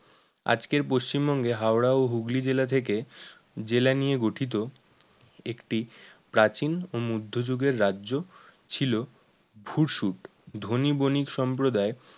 আজকের পশ্চিমবঙ্গে হাওড়া ও হুগলি জেলা থেকে জেলা নিয়ে গঠিত একটি প্রাচীন ও মধ্যযুগের রাজ্য ছিল ভুর সুট, ধনী বণিক সম্প্রদায়